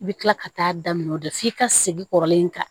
I bɛ tila ka taa daminɛ o de f'i ka segin kɔrɔlen kan